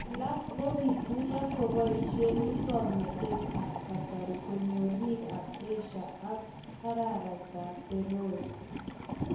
Alaak ko kituiyo kobaishee musoknoteet ap kasari konyoor biik ap Asia ak araraita apFaroe